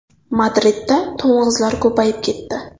Madridda to‘ng‘izlar ko‘payib ketdi.